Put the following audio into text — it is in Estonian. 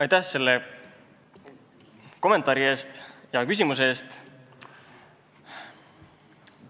Aitäh selle kommentaari ja hea küsimuse eest!